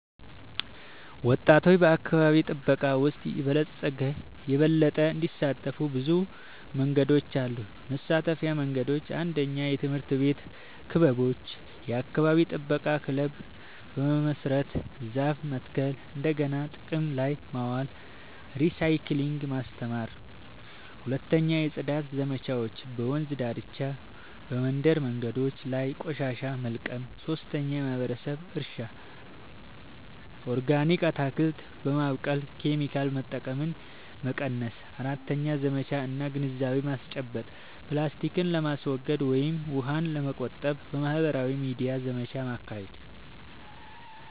ወጣቶች በአካባቢ ጥበቃ ውስጥ የበለጠ እንዲሳተፉ ብዙ መንገዶች አሉ -የመሳተፊያ መንገዶች፦ 1. የትምህርት ቤት ክበቦች – የአካባቢ ጥበቃ ክለብ በመመስረት ዛፍ መትከል፣ እንደገና ጥቅም ላይ ማዋል (recycling) ማስተማር። 2. የጽዳት ዘመቻዎች – በወንዝ ዳርቻ፣ በመንደር መንገዶች ላይ ቆሻሻ መልቀም። 3. የማህበረሰብ እርሻ – ኦርጋኒክ አትክልት በማብቀል ኬሚካል መጠቀምን መቀነስ። 4. ዘመቻ እና ግንዛቤ ማስጨበጫ – ፕላስቲክን ለማስወገድ ወይም ውሃን ለመቆጠብ በማህበራዊ ሚዲያ ዘመቻ ማካሄድ።